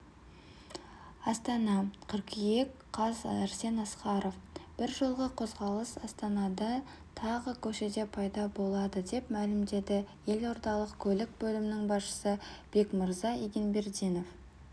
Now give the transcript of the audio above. астана қыркүйек қаз арсен асқаров бір жолғы қозғалыс астанада тағы көшеде пайда болады деп мәлімдеді елордалық көлік бөлімінің басшысы бекмырза егенбердинов